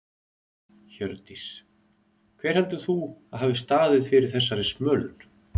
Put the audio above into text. Hjördís: Hver heldur þú að hafi staðið fyrir þessari smölun?